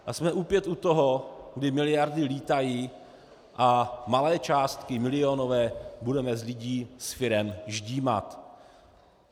A jsme opět u toho, kdy miliardy lítají a malé částky, milionové, budeme z lidí, z firem ždímat.